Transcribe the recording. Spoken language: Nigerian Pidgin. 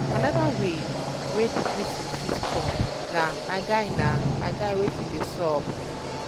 anoda way wey di greeting fit um com um na "my guy na "my guy wetin dey sup?"